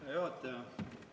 Hea juhataja!